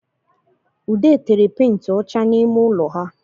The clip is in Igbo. Ude tere penti ọcha n’ime ụlọ ha